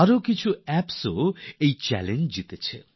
কিছু আরও অ্যাপ তো এই চ্যালেঞ্জটা জিতেছে